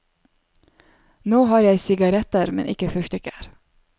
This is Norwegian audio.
Nå har jeg sigaretter, men ikke fyrstikker.